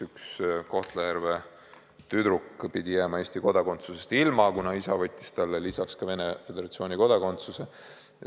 Üks Kohtla-Järve tüdruk pidi jääma Eesti kodakondsusest ilma, kuna isa võttis talle lisaks ka Venemaa Föderatsiooni kodakondsuse.